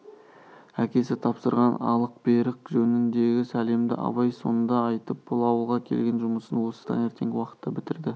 әкесі тапсырған алық-берік жөніндегі сәлемді абай сонда айтып бұл ауылға келген жұмысын осы таңертеңгі уақытта бітірді